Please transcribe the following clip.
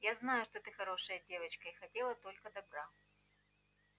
я знаю что ты хорошая девочка и хотела только добра